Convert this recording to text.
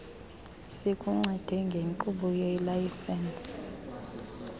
sikuncede ngenkqubo yelayisensi